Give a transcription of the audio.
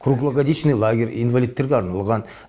круглогодичный лагерь инвалидтерге арналған